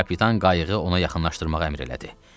Kapitan qayığı ona yaxınlaşdırmağı əmr elədi.